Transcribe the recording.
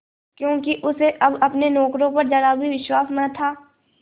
क्योंकि उसे अब अपने नौकरों पर जरा भी विश्वास न था